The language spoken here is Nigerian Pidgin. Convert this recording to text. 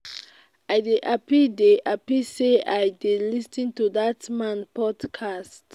i dey happy dey happy say i dey lis ten to dat man podcast